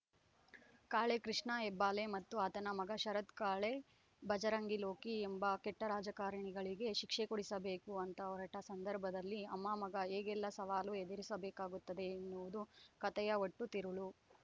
ಕಾಳೆ ಕೃಷ್ಣ ಹೆಬ್ಬಾಲೆ ಮತ್ತು ಆತನ ಮಗ ಶರತ್‌ ಕಾಳೆ ಭಜರಂಗಿ ಲೋಕಿ ಎಂಬ ಕೆಟ್ಟರಾಜಕಾರಣಿಗಳಿಗೆ ಶಿಕ್ಷೆ ಕೊಡಿಸಬೇಕು ಅಂತ ಹೊರಟ ಸಂದರ್ಭದಲ್ಲಿ ಅಮ್ಮಮಗ ಹೇಗೆಲ್ಲ ಸವಾಲು ಎದುರಿಸಬೇಕಾಗುತ್ತದೆ ಎನ್ನುವುದು ಕತೆಯ ಒಟ್ಟು ತಿರುಳು